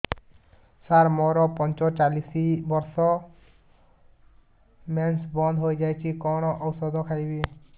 ସାର ମୋର ପଞ୍ଚଚାଳିଶି ବର୍ଷ ମେନ୍ସେସ ବନ୍ଦ ହେଇଯାଇଛି କଣ ଓଷଦ ଖାଇବି